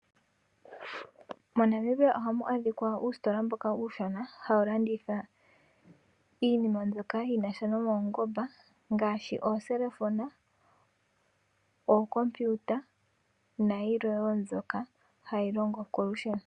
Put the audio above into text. Monamibia ohamu adhika uusitola mboka uushona hawu landitha iinima mbyoka yinasha nuungomba ngaashi oongodhi dhopeke, ookompiyuta nayilwe woo mbyoka hayi longo kolusheno.